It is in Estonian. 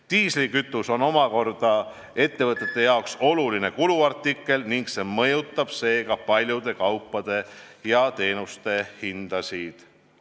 Diislikütus on omakorda ettevõtete oluline kuluartikkel ning see mõjutab seega paljude kaupade ja teenuste hindasid.